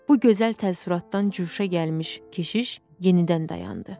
Bu gözəl təəssüratdan cuşa gəlmiş keşiş yenidən dayandı.